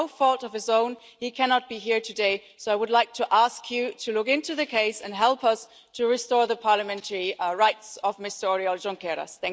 Through no fault of his own he cannot be here today, so I would like to ask you to look into the case and help us to restore the parliamentary rights of Mr Oriol Junqueras.